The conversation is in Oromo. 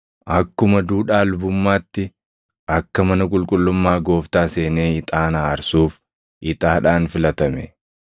akkuma duudhaa lubummaatti akka mana qulqullummaa Gooftaa seenee ixaana aarsuuf ixaadhaan filatame.